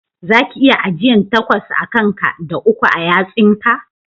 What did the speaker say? Za ki iya ajiyan takwas a kan ka da uku a yatsosin ka?